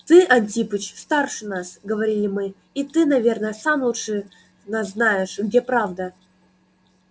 ты антипыч старше нас говорили мы и ты наверно сам лучше нас знаешь где правда